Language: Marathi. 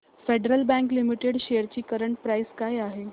फेडरल बँक लिमिटेड शेअर्स ची करंट प्राइस काय आहे